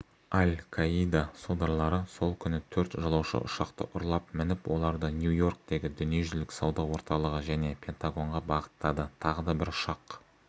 аль-каида содырлары сол күні төрт жолаушы ұшақты ұрлап мініп оларды нью-йорктегі дүниежүзілік сауда орталығы және пентагонға бағыттады тағы да бір ұшақ